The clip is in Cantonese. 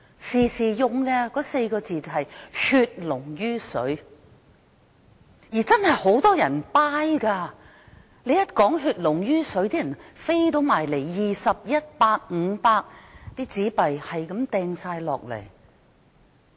當時不斷提到的4個字是"血濃於水"，而很多人真的認同這說法，將20元、100元、500元的紙幣投入捐款箱。